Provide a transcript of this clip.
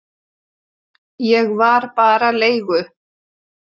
Ég var bara leigu